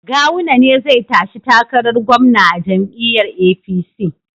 Gawuna ne zai tashi takarar gwamna a jam'iyyar APC